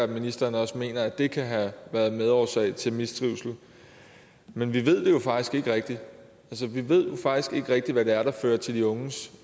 ministeren også mener at det kan have været medårsag til mistrivsel men vi ved det jo faktisk ikke rigtig vi ved jo faktisk ikke rigtig hvad det er der fører til de unges